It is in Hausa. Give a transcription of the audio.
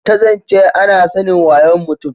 ta zance ana sanin wayon mutum